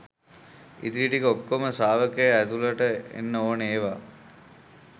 ඉතිරි ටික ඔක්කෝම ශ්‍රාවකයා ඇතුළට එන්න ඕන ඒවා